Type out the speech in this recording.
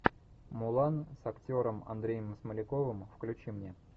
мулан с актером андреем смоляковым включи мне